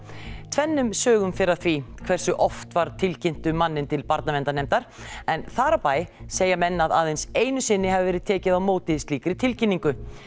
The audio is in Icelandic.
tvennum sögum fer af því hversu oft var tilkynnt um manninn til Barnaverndarnefndar en þar á bæ segja menn að aðeins einu sinni hafi verið tekið á móti slíkri tilkynningu